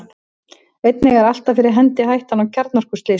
einnig er alltaf fyrir hendi hættan á kjarnorkuslysum